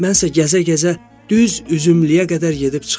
Mənsə gəzə-gəzə düz üzümlüyə qədər gedib çıxıram.